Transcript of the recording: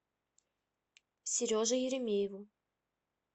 сереже еремееву